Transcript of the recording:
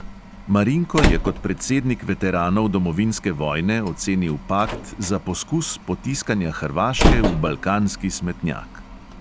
Marinko je kot predsednik veteranov domovinske vojne ocenil pakt za poskus potiskanja hrvaške v balkanski smetnjak.